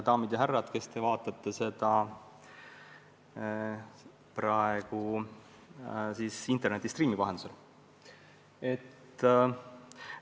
Daamid ja härrad, kes te vaatate seda istungit interneti stream'i vahendusel!